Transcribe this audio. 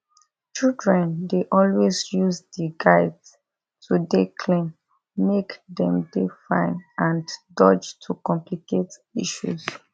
children dey always use di guides to dey clean make dem dey fine and dodge to complicate issues